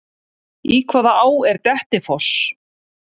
Í hvaða á er Dettifoss?